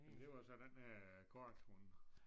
Men det var så den øh korthund